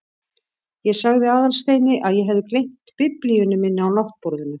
Ég sagði Aðalsteini að ég hefði gleymt biblíunni minni á náttborðinu.